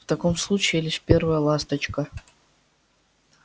в таком случае лишь первая ласточка